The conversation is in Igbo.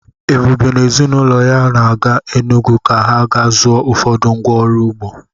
Ebube na ezi na ụlọ ya ga-aga Enugwu ka ha ga zụọ ụfọdụ ngwa ọrụ ugbo.